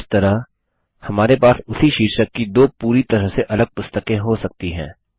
इस तरह हमारे पास उसी शीर्षक की दो पूरी तरह से अलग पुस्तकें हो सकती हैं